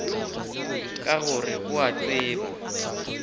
ka gore o a tseba